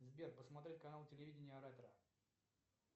сбер посмотреть канал телевидения ретро